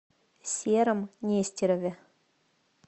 сером нестерове